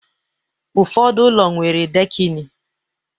Ụfọdụ ụlọ nwere dekini